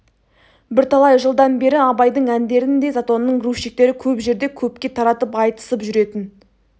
бірталай жылдан бері абайдың әндерін де затонның грузчиктері көп жерде көпке таратып айтысып жүретін